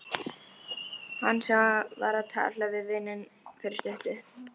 Hann sem var að tala við vininn fyrir stuttu.